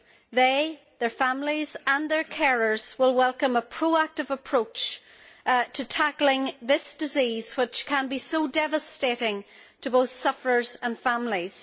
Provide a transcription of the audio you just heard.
They, their families and their carers will welcome a proactive approach to tackling this disease, which can be so devastating to both sufferers and families.